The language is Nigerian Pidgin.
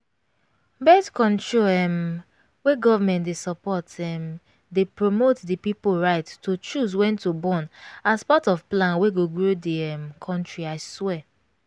bith-control um wey government dey support um dey promte the pipo right to choose when to bornas part of plan wey go grow di um country i swear